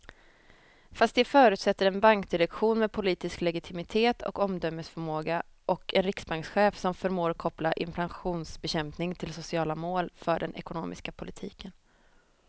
Fast det förutsätter en bankdirektion med politisk legitimitet och omdömesförmåga och en riksbankschef som förmår koppla inflationsbekämpning till sociala mål för den ekonomiska politiken.